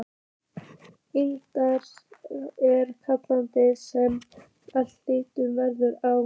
Innst er kjarninn sem allt hitt veltur á.